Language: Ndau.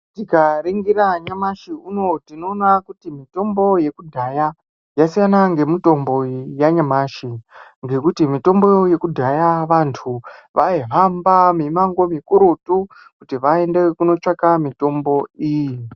Tikaningira nyamashi unou tinoona kuti mitombo yekudhaya yasiyana ngemitombo yanyamashi ngekuti mitombo yekudhaya vanthu vaihamba mimamngo mikurutu kuti vaende kunotsvaka mitombo iyi.